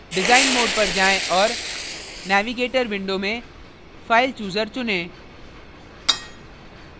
design mode पर जाएँ और navigator window में filechooser चुनें